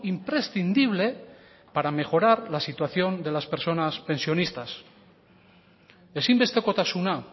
imprescindible para mejorar la situación de las personas pensionistas ezinbestekotasuna